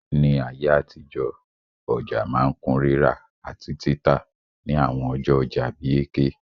Ní ayé àtijọ́, ọja ma n kun rírà àtí títà ni àwon ọjọ́ ojà bi Eke